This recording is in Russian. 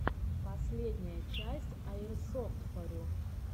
последняя часть аирсофтфорю